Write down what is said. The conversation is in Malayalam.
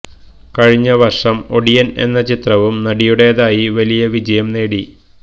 കഴിഞ്ഞ വര്ഷം ഒടിയന് എന്ന ചിത്രവും നടിയുടെതായി വലിയ വിജയം നേടി